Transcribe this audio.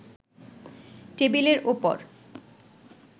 টেবিলের ওপর